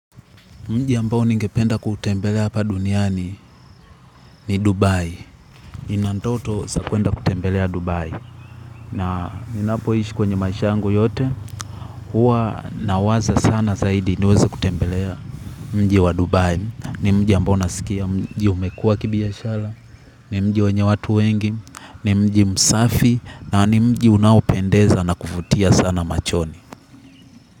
Mji ambao ningependa kuutembelea hapa duniani, ni Dubai. Nina ndoto za kwenda kutembelea Dubai. Na ninapoishi kwenye maisha yangu yote. Huwa nawaza sana zaidi niweze kutembelea mji wa Dubai. Ni mji ambao nasikia, mji umekua umekuwa wa kibiashara. Ni mji wenye watu wengi. Ni mji msafi. Na ni mji unaopendeza na kuvutia sana machoni.